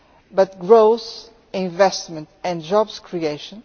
but growth, investment and job creation.